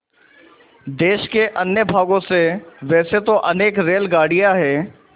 देश के अन्य भागों से वैसे तो अनेक रेलगाड़ियाँ हैं